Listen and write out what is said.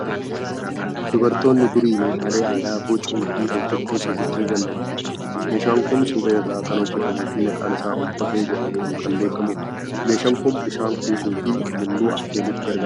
Dubartoonni durii meeshaalee aadaa bocuu fi hojjechuu sirriitti ni danda'u. Meeshaan kun suphee irraa kan hojjetamuu fi maqaan isaa okkotee jedhamuun kan beekamudha. Meeshaan kun bishaan kuusuu fi mulluu affeeluuf gargaara.